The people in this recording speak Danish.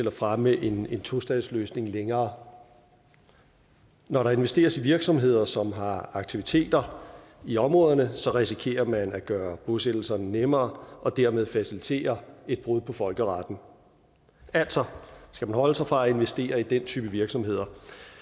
at fremme en tostatsløsning længere når der investeres i virksomheder som har aktiviteter i områderne risikerer man at gøre bosættelserne nemmere og dermed facilitere et brud på folkeretten altså skal man holde sig fra at investere i den type virksomheder